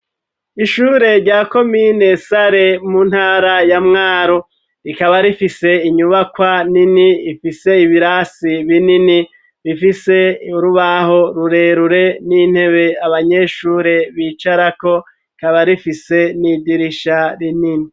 Ishure rya komine Sare mu ntara ya Mwaro rikaba rifise inyubakwa nini ifise ibirasi binini bifise urubaho rurerure n'intebe abanyeshure bicarako rikaba rifise n'idirisha rinini